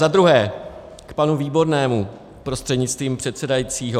Za druhé k panu Výbornému prostřednictvím předsedajícího.